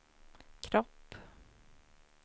kropp